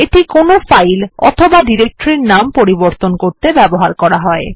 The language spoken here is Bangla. এটা কোনো ফাইল অথবা ডিরেক্টরির নাম পরিবর্তন করতে ব্যবহৃত হয়